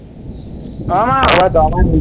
আহ এইবাৰ যোৱাবাৰ